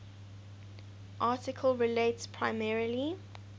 article relates primarily